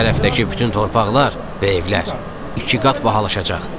"Bu tərəfdəki bütün torpaqlar və evlər iki qat bahalaşacaq."